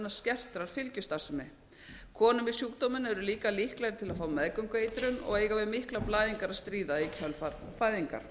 skertrar fylgjustarfsemi konur með sjúkdóminn eru líka líklegri til að fá meðgöngueitrun og eiga við miklar blæðingar að stríða í kjölfar fæðinga